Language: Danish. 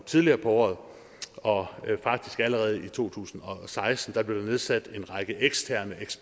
tidligere på året og at der faktisk allerede i to tusind og seksten blev nedsat en række eksterne